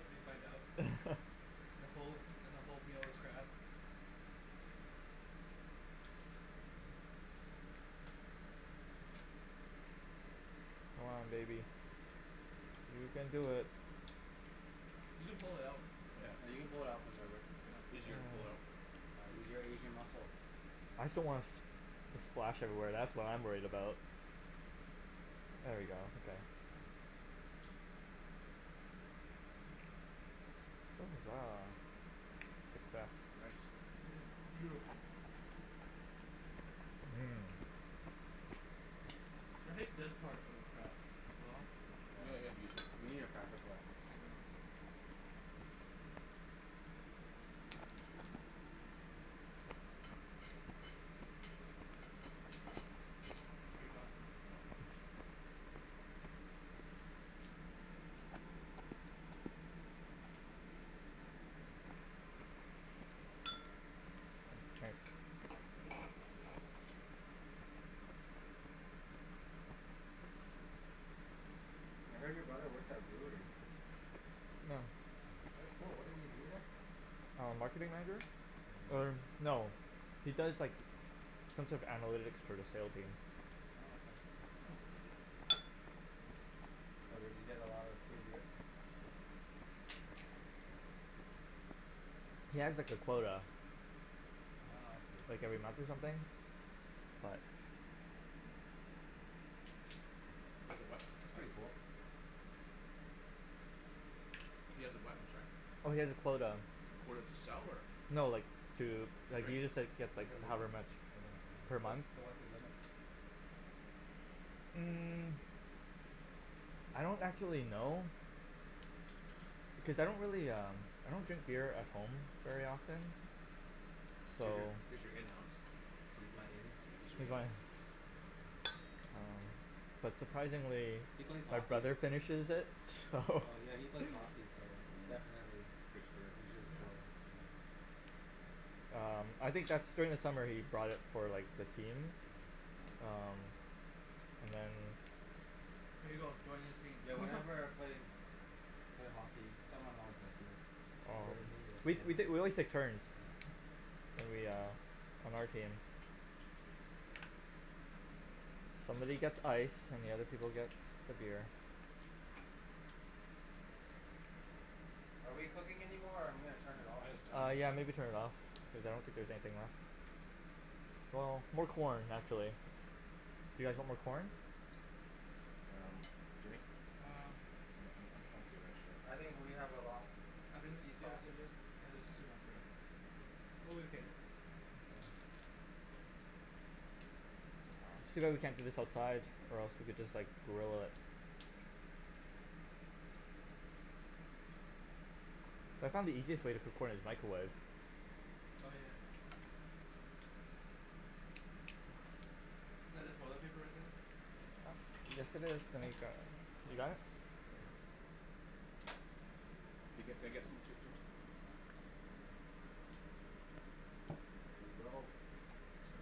and you find out, and the whole, the whole meal is crab. Come on baby. You can do it. You can pull it out. Yeah, Yeah, you you can can pull pull it it out. out from there, Rick. Easier to pull it out. Uh use your Asian muscle. I just don't wanna s- the splash everywhere, that's what I'm worried about. There we go, okay. Success. Nice. Yes, beautiful. Mhm. I hate this part of uh the claw Yeah, you need a cracker for that Get it done. I heard your brother works at a brewery. Yeah. That's cool, what does he do there? Um, marketing manager? Er, no, he does like, some sort of analytics for the sale team. Oh okay. So does he get a lot of free beer? He has like a quota. Ah I see. Like every month or something, but That's pretty cool. He has a what, I'm sorry? Oh he has a quota, A quota to sell or? no like, to, like, Drink he just like, gets like, however much per month. So what's his limit? Mm, I don't actually know, cuz I don't really um, I don't drink beer at home very often, so He's your, he's your in, Alex. He's my in? Yeah, he's your in. um, but surprisingly, He plays my hockey. brother finishes it, so Oh yeah, he plays hockey so definitely Free spirit Drinks quota Um, I think that's, during the summer, he brought it for like the team, um, and then Here you go, join his team. Yeah, whenever I play, played hockey, someone always has beer, Oh, either me or we someone t- , we, always took turns, Yep. when we um, on our team. Somebody gets ice, and the other people get the beer. Are we cooking anymore or I'm gonna turn it off Uh yeah maybe turn it off, cuz I don't think there's anything left. Well, more corn actually. Do you guys want more corn? Um, Jimmy? Um I'm I'm I'm good actually. I think we have a lot, I think we want these sh- yeah, sausages? it is too much, Rick, I'm okay. It's too bad we can't do this outside, or else we could just like, grill it. I found the easiest way to cook corn is microwave. Oh yeah. Is that the toilet paper right there? Yes it is, can you gr- . You got it? Yeah. Can I, can I get, can I get some Jim- Jimmy? There you go. Thanks man.